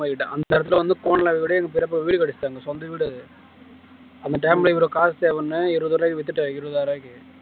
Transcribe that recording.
தாய்மார்கிட்ட அந்த இடத்துல வந்து சொந்த வீடு அந்த time ல இவ்வளவு காசு தேவைன்னு இருபது ரூபாய்க்கு வித்துட்டேன் இருபதாயிரம் ரூபாய்க்கு